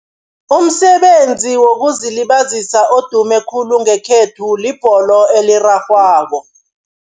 Umsebenzi wokuzilibazisa odume khulu ngekhethu, libholo elirarhwako.